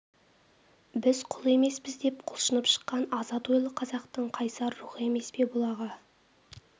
біз құл емеспіз деп құлшынып шыққан азат ойлы қазақтың қайсар рухы емес пе бұл аға